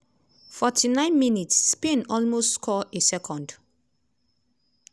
49 mins - spain almost score a second.